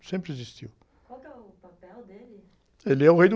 Sempre existiu.ual que é o papel dele?le é o rei do...